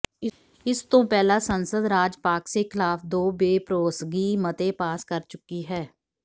ਇਸ ਤੋਂ ਪਹਿਲਾਂ ਸੰਸਦ ਰਾਜਪਾਕਸੇ ਖਿਲਾਫ ਦੋ ਬੇਭਰੋਸਗੀ ਮਤੇ ਪਾਸ ਕਰ ਚੁੱਕੀ ਹੈ